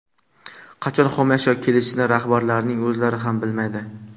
Qachon xomashyo kelishini rahbarlarning o‘zlari ham bilmaydi.